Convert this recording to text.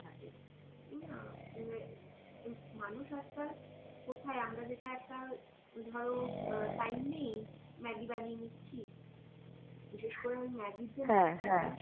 তাই না তুমে এ মানুষ আজকাল কোথায় আমরা যেটা একটা ধরো আঁ time নেই maggi বানিয়ে নিচ্ছি বিশেষ করে ওই maggi এর যে মসলাটা আছে